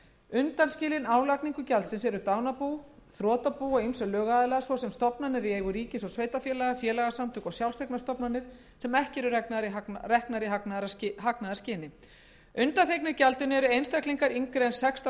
undanskilin álagningu gjaldsins eru dánarbú þrotabú og ýmsir lögaðilar svo sem stofnanir í eigu ríkis og sveitarfélaga félagasamtök og sjálfseignarstofnanir sem ekki eru reknar í hagnaðarskyni undanþegnir gjaldinu eru einstaklingar yngri en sextán